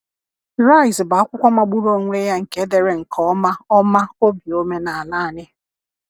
“Rise bụ akwụkwọ magburu onwe ya nke dere nke ọma ọma obi omenala anyị.